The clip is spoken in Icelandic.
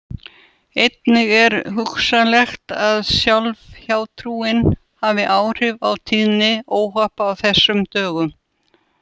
Einnig er hugsanlegt að sjálf hjátrúin hafi áhrif á tíðni óhappa á þessum dögum.